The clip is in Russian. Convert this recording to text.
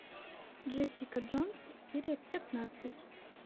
джессика джонс серия пятнадцать